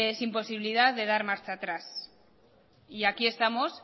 sin posibilidad de dar marcha atrás y aquí estamos